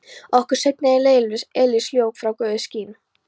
Okkur seinna í eilífðinni eilíft ljós frá Guði skín.